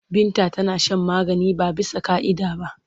Binta tana shan magani ba bisa ƙa'ida ba.